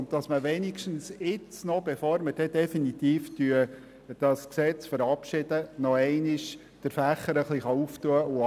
Es soll wenigstens jetzt, bevor das Gesetz definitiv verabschiedet wird, der Fächer etwas geöffnet werden.